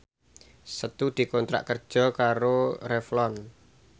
Setu dikontrak kerja karo Revlon